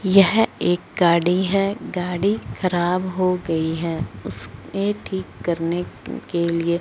यह एक गाड़ी है गाड़ी खराब हो गई है उसके ठीक करने के लिए--